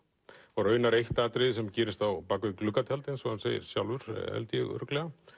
og raunar eitt atriði sem gerist bak við gluggatjald eins og hann segir sjálfur held ég örugglega